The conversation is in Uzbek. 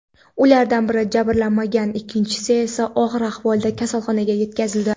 Ulardan biri jabrlanmagan, ikkinchisi esa og‘ir ahvolda kasalxonaga yetkazildi.